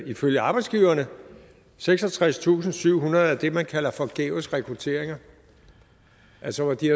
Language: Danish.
ifølge arbejdsgiverne seksogtredstusinde og syvhundrede af det man kalder forgæves rekrutteringer altså hvor de